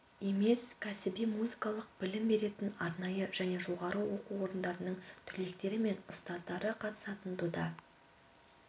емес кәсіби музыкалық білім беретін арнайы және жоғары оқу орындарының түлектері мен ұстаздары қатысатын дода